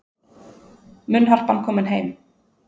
Munnharpan komin heim